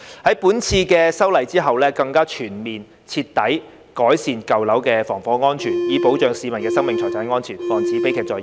在本次的修例之後，更加全面徹底改善舊樓的防火安全，以保障市民的生命財產安全，防止悲劇再現。